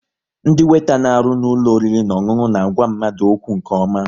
Ndị weeta na arụ n'ụlọ oriri na ọṅụṅụ na àgwà mmadụ okwu nke ọma